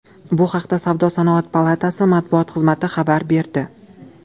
Bu haqda Savdo-sanoat palatasi matbuot xizmati xabar berdi .